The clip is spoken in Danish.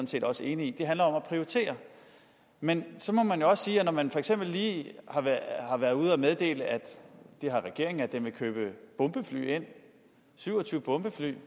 set også enig i det handler om at prioritere men så må man jo også sige at når man for eksempel lige har været ude at meddele det har regeringen at man vil købe syv og tyve bombefly